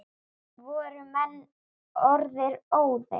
Voru menn orðnir óðir!